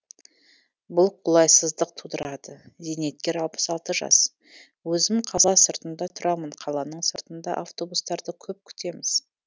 бұл қолайсыздық тудырады зейнеткер алпыс алты жас өзім қала сыртында тұрамын қаланың сыртында автобустарды көп күтеміз